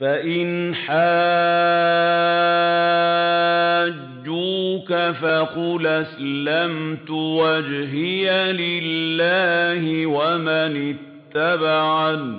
فَإِنْ حَاجُّوكَ فَقُلْ أَسْلَمْتُ وَجْهِيَ لِلَّهِ وَمَنِ اتَّبَعَنِ ۗ